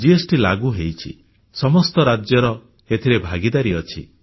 GST ଲାଗୁ ହୋଇଛି ସମସ୍ତ ରାଜ୍ୟର ଏଥିରେ ଭାଗିଦାରୀ ଅଛି